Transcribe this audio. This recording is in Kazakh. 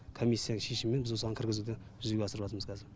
комиссияның шешімімен біз осыған кіргізуді жүзеге асырыватырмыз кәзір